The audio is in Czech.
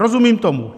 Rozumím tomu.